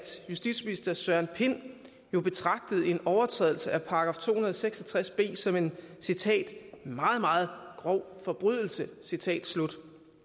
justitsministeren jo betragtede en overtrædelse af § to hundrede og seks og tres b som en citat meget meget grov forbrydelse citat slut